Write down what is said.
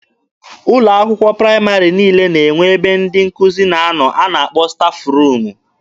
Ụlọ akwụkwọ praịmarị niile na-enwe ebe ndị nkụzi na-anọ nke a kpọrọ 'stafụ ruumu'